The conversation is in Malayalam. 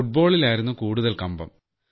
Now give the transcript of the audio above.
ഫുട്ബോളിലായിരുന്നു കൂടുതൽ കമ്പം